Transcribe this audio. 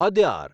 Adyar